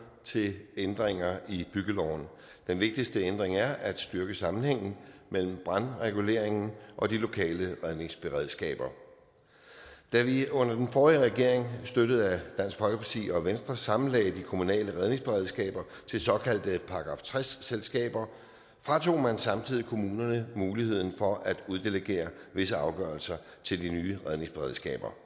til ændringer i byggeloven den vigtigste ændring er at styrke sammenhængen mellem brandreguleringen og de lokale redningsberedskaber da vi under den forrige regering støttet af dansk folkeparti og venstre sammenlagde de kommunale redningsberedskaber til såkaldte § tres selskaber fratog man samtidig kommunerne muligheden for at uddelegere visse afgørelser til de nye redningsberedskaber